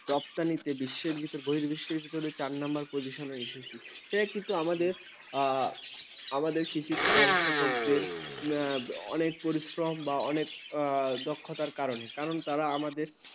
রফতানিতে বিশ্বে বহির্বিশ্বের ভিতরে চার নম্বর পজিশনে এসেছি। সেটা কিন্তু আমাদের, আমাদের কৃষি ব্যবস্থাপকদের অনেক পরিশ্রম বা অনেক দক্ষতার কারণে। কারণ তারা আমাদের